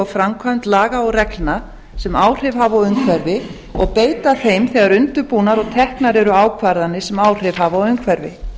framkvæmd laga og reglna sem áhrif hafa á umhverfið og beita þeim þegar undirbúnar og teknar eru ákvarðanir sem áhrif hafa á umhverfi